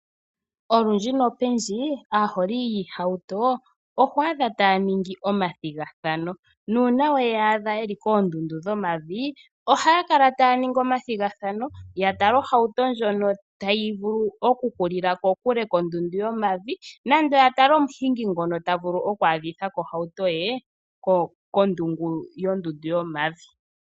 Olundji nopendji aaholi yiihauto oho adha ta ya ningi omathigathano ,na una we ya adha yeli kondundu dhomavi oha ya kala taya ningi omathigathano ya tale ohauto ndjono tayi vulu oku hulila ko kule ko ondundu yomavi nenge ya tale omuhingi ngoka ta vulu oku adhi tha ko ohauto ye kondungu yondundu yomavi.